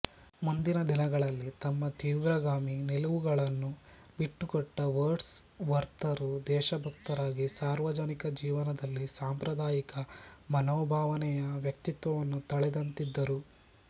ಮುಂದಿನ ದಿನಗಳಲ್ಲಿ ತಮ್ಮ ತೀವ್ರಗಾಮಿ ನಿಲುವುಗಳನ್ನು ಬಿಟ್ಟುಕೊಟ್ಟ ವರ್ಡ್ಸ್ ವರ್ತರು ದೇಶಭಕ್ತರಾಗಿ ಸಾರ್ವಜನಿಕ ಜೀವನದಲ್ಲಿ ಸಾಂಪ್ರದಾಯಿಕ ಮನೋಭಾವನೆಯ ವ್ಯಕ್ತಿತ್ವವನ್ನು ತಳೆದಂತಿದ್ದರು